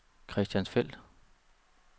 Christiansfeld